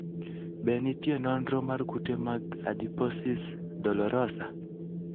Be nitie nonro mar kute mag adiposis dolorosa?